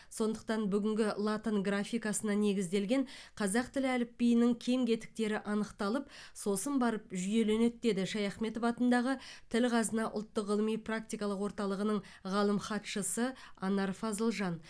сондықтан бүгінгі латын графикасына негізделген қазақ тілі әліпбиінің кем кетіктері анықталып сосын барып жүйеленеді деді шаяхметов атындағы тіл қазына ұлттық ғылыми практикалық орталығының ғалым хатшысы анар фазылжан